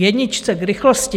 K jedničce, k rychlosti.